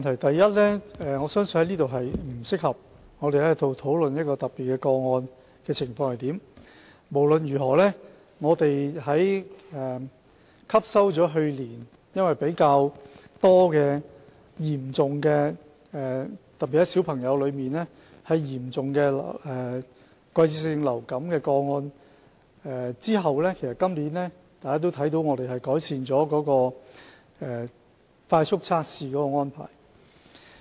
第一，我相信在此並不適合討論一些特別個案的情況，但不論如何，汲取了去年較多嚴重個案的經驗，特別是兒童嚴重季節性流感的個案後，大家看到我們今年已經改善了快速測試的安排。